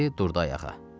dedi, durdu ayağa.